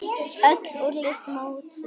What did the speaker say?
Öll úrslit mótsins